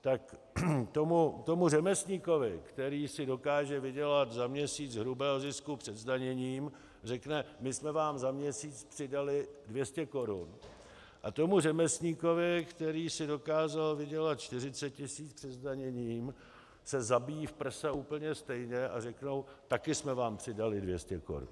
Tak tomu řemeslníkovi, který si dokáže vydělat za měsíc hrubého zisku před zdaněním, řekne "my jsme vám za měsíc přidali 200 korun" a tomu řemeslníkovi, který si dokázal vydělat 40 tisíc před zdaněním, se zabíjí v prsa úplně stejně a řekne "taky jsme vám přidali 200 korun".